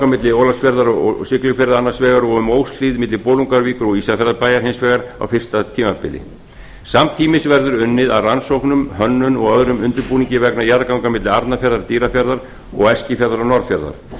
milli ólafsfjarðar og siglufjarðar annars vegar og um óshlíð milli bolungarvíkur og ísafjarðarbæjar hins vegar á fyrsta tímabili samtímis verður unnið að rannsóknum hönnun og öðrum undirbúningi vegna jarðganga milli arnarfjarðar dýrafjarðar og eskifjarðar og norðfjarðar